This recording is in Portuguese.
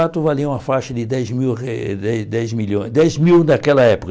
Quatro valia uma faixa de dez mil re dez dez milhôes dez mil daquela época.